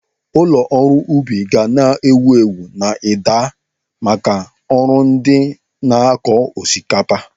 Ụlọ ọrụ ubi ga na-ewu ewu n'Edda maka ọrụ ndị na-akọ osikapa.